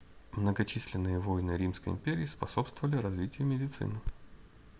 многочисленные войны римской империи способствовали развитию медицины